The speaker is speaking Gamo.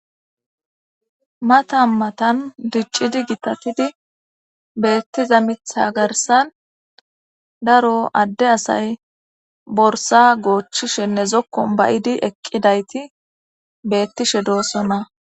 mata matan diccidi gitatidi beettiza mitha garsan daro adde asay borsa goochchishenne zokkon bayidi eqqidayti beettishe doossona